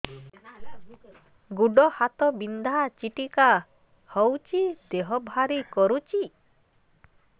ଗୁଡ଼ ହାତ ବିନ୍ଧା ଛିଟିକା ହଉଚି ଦେହ ଭାରି କରୁଚି